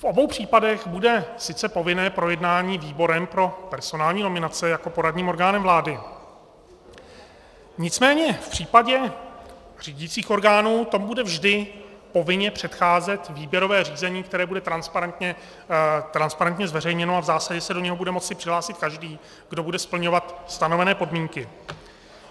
V obou případech bude sice povinné projednání výborem pro personální nominace jako poradním orgánem vlády, nicméně v případě řídících orgánů tomu bude vždy povinně předcházet výběrové řízení, které bude transparentně zveřejněno, a v zásadě se do něj bude moci přihlásit každý, kdo bude splňovat stanovené podmínky.